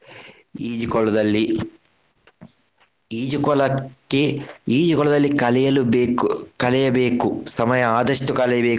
ಈಜುಕೊಳದಲ್ಲಿ ಈಜುಕೊಳಕ್ಕೆ ಈಜುಕೊಳದಲ್ಲಿ ಕಲಿಯಲು ಬೇಕು ಕಳೆಯಬೇಕು ಸಮಯ ಆದಷ್ಟು ಕಳೆಯಬೇಕು.